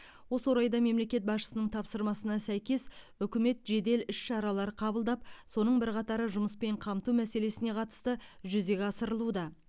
осы орайда мемлекет басшысының тапсырмасына сәйкес үкімет жедел іс шаралар қабылдап соның бірқатары жұмыспен қамту мәселесіне қатысты жүзеге асырылуда